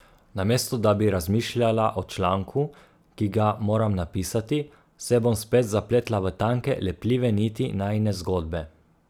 Namesto da bi razmišljala o članku, ki ga moram napisati, se bom spet zapletla v tanke, lepljive niti najine zgodbe.